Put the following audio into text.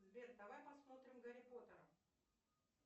сбер давай посмотрим гарри поттера